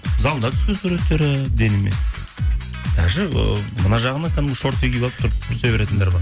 залда түскен суреттері денемен даже ы мына жағына кәдімгі шорты киіп алып тұрып түсе беретіндер бар